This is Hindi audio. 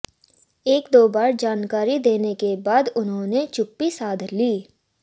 एक दो बार जानकारी देने के बाद उन्होने चुप्पी साध ली